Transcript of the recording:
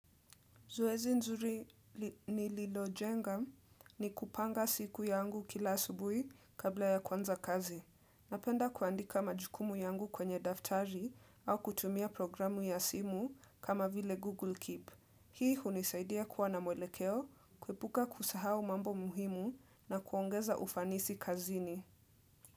Zoezi nzuri ni lilojenga ni kupanga siku yangu kila asubuhi kabla ya kuanza kazi. Napenda kuandika majukumu yangu kwenye daftari au kutumia programu ya simu kama vile Google Keep. Hii hunisaidia kuwa na mwelekeo, kuepuka kusahau mambo muhimu na kuongeza ufanisi kazini.